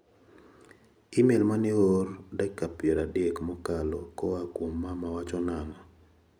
Imel mane oor dakika piero adek mokalo koa kuom mama wacho nang'o?